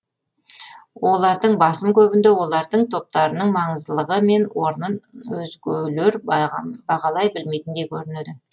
олардың басым көбінде олардың топтарының маңыздылығы мен орнын өзгелер бағалай білмейтіндей көрінеді